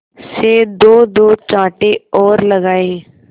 से दोदो चांटे और लगाए